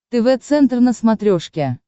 тв центр на смотрешке